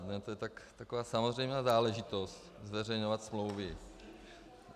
To je taková samozřejmá záležitost zveřejňovat smlouvy.